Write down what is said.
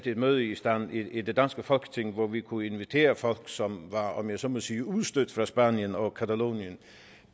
et møde i stand i det danske folketing hvor vi kunne invitere folk som var om jeg så må sige udstødt fra spanien og catalonien